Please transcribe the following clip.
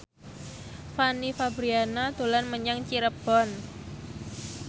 Fanny Fabriana dolan menyang Cirebon